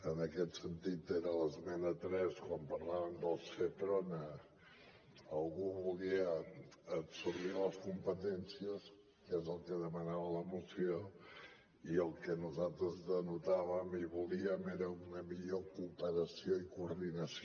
en aquest sentit era l’esmena tres quan parlàvem del seprona algú volia absorbir les competències que és el que demanava la moció i el que nosaltres denotàvem i volíem era una millor cooperació i coordinació